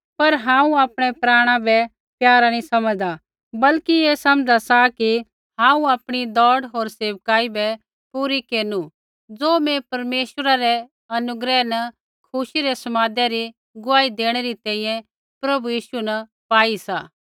पर हांऊँ आपणै प्राणा बै प्यारा नी समझ़दा बल्कि ऐ समझ़ा सा कि हांऊँ आपणी दौड़ होर सेविकाई बै पूरी केरनु ज़ो मैं परमेश्वरै रै अनुग्रह न खुशी रै समादै री गुआही देणै री तैंईंयैं प्रभु यीशु न पाई सा